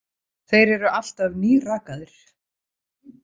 Þeir eru alltaf nýrakaðir.